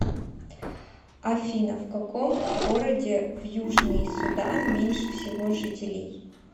афина в каком городе в южный судан меньше всего жителей